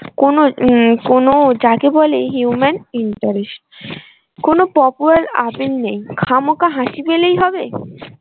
কোনো উম কোনো যাকে বলে human interest কোনো নেই খামোকা হাসি পেলেই হবে?